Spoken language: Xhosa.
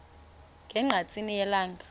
ne ngqatsini yelanga